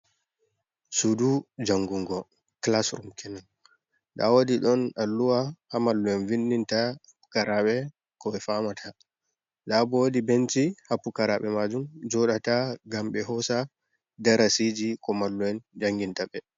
Suɗu jangungo kilas rum kenun. Nɗa woɗi ɗon Alluwa ha mallu'en vinɗinta pukaraɓe ko ɓe famata. Nɗa ɓo woɗi ɓenci ha pukaraɓe majum joɗata ngam ɓe hosa ɗarasiji ko mallu'en janginta ɓe.